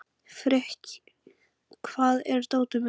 Frikki, hvar er dótið mitt?